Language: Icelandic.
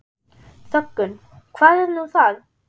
Þöggun, hvað er nú það?